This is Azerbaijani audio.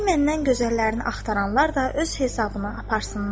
Qoy məndən gözəllərini axtaranlar da öz hesabına aparsınlar.